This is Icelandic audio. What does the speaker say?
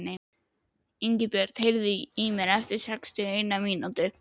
Ingibjört, heyrðu í mér eftir sextíu og eina mínútur.